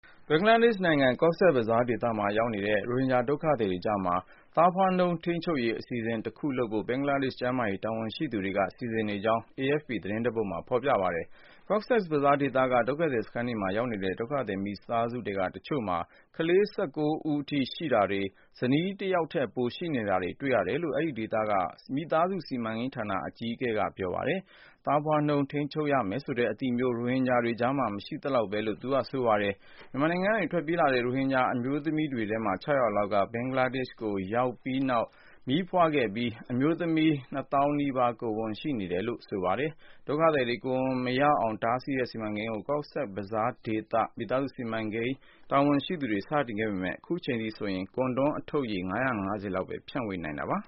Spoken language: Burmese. ဘင်္ဂလားဒေ့ရှ်နိုင်ငံ Cox’s Bazar ဒေသမှာ ရောက်နေတဲ့ ရိုဟင်ဂျာဒုက္ခသည်တွေကြားမှာ သားဖွားနှုန်း ထိန်းချုပ်ရေး အစီအစဉ် တခုလုပ်ဖို့ ဘင်္ဂလားဒေ့ရှ်ကျန်းမာရေး တာဝန်ရှိသူတွေက စီစဉ်နေကြောင်း AFP သတင်းတပုဒ်မှာ ဖော်ပြထားပါတယ်။ Cox’s Bazar ဒေသက ဒုက္ခသည်စခန်းတွေမှာ ရောက်နေတဲ့ ဒုက္ခသည်မိသားစုထဲက တချို့မှာ ကလေး ၁၉ ယောက်အထိ ရှိတာတွေ၊ ဇနီးတယောက်ထက် ပိုရှိတာတွေ တွေ့ရတယ်လို့ အဲဒီဒေသက မိသားစု စီမံကိန်းဌာနရဲ့ အကြီးအကဲ Pintu Kanti Bhattacharjee က ပြော ပါတယ်။ သားဖွားနှုန်း ထိန်းချုပ်ရမယ်ဆိုတဲ့ အသိမျိုး- ရိုဟင်ဂျာတွေကြားမှာ မရှိသလောက်ပဲလို့လည်း သူကပြောပါတယ်။ မြန်မာနိုင်ငံကနေ ထွက်ပြေးလာတဲ့ ရိုဟင်ဂျာအမျိုးသမီးတွေထဲက ၆၀၀ လောက်ဟာ ဘင်္ဂလားဒေ့ရှ်ကို ရောက်ပြီးတဲ့နောက် မီးဖွားခဲ့ကြပြီး အမျိုးသမီး ၂၀,၀၀၀ နီးပါး ကိုယ်ဝန်ရှိနေတယ်လို့ တာဝန်ရှိသူတွေက AFP သတင်းဌာနကို ပြောပါတယ်။ ဒုက္ခသည်တွေ ကိုယ်ဝန်မရအောင် တားဆီးတဲ့ စီမံကိန်းကို Cox’s Bazar ဒေသ မိသားစု စီမံကိန်းတာဝန်ရှိသူတွေ စတင်ခဲ့ပေမဲ့ အခုချိန်ထိ ဆိုရင် ၊ ကွန်ဒွမ်း အထုတ်ရေ ၅၅၀ လောက်ကိုပဲ ဖြန့်ပေးနိုင်သေးတာပါ။